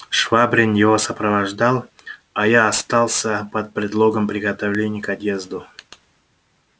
швабрин его сопровождал а я остался под предлогом приготовлений к отъезду